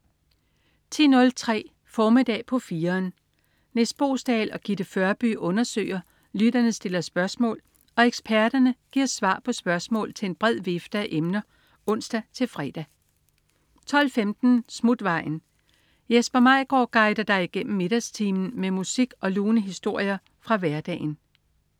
10.03 Formiddag på 4'eren. Nis Boesdal og Gitte Førby undersøger, lytterne stiller spørgsmål og eksperterne giver svar på spørgsmål til en bred vifte af emner (ons-fre) 12.15 Smutvejen. Jesper Maigaard guider dig igennem middagstimen med musik og lune historier fra hverdagen